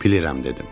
Bilirəm dedim.